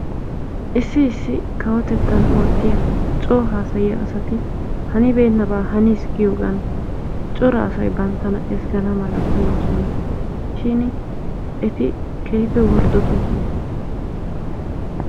issi kawotettan oottiya coo haasayiya asati hanibeenabaa haniisi giyogan cora asay bantana ezgana mala koyosona shin eti keehippe worddotoosona.